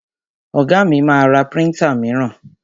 Ọ̀gá mi ma ra príntà míràn.